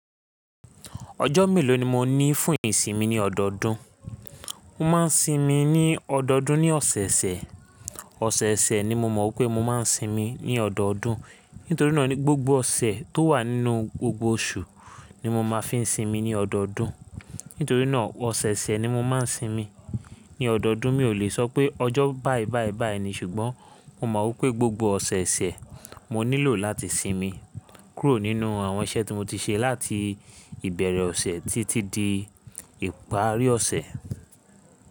Ọjọ́ mélòó ni mo ní fún ìsinmi ní ọdọọdún? Mo máa ń sinmi ní ọdọọdún ní ọ̀sẹ̀ẹ̀sẹ̀. Ọ̀sẹ̀ẹ̀sẹ̀ ni mo mọ̀ pé mo máa ń sinmi ní ọdọọdún. Nítorí náà ni gbogbo ọ̀sẹ̀ tó wà nínú gbogbo oṣù ni mo máa fi ń sinmi ní ọdọọdún. Nítorí náà ọ̀sẹ̀ẹ̀sẹ̀ ni mo máa ń sinmi ní ọdọọdún. Mi ò lè sọ pé ọjọ́ báì báì báì ni ṣùgbọ́n mo mọ̀ pé gbogbo ọ̀sẹ̀ẹ̀sẹ̀ mo nílò láti sinmi kúrò nínú àwọn iṣẹ́ tí mo ti ṣe láti ìbẹ̀rẹ̀ ọ̀sẹ̀ títí di ìparí ọ̀sẹ̀.